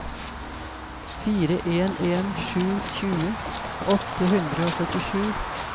fire en en sju tjue åtte hundre og førtisju